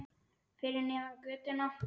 Fyrir neðan götuna.